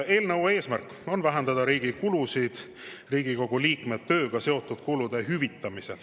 Eelnõu eesmärk on vähendada riigi kulusid Riigikogu liikme tööga seotud kulude hüvitamisel.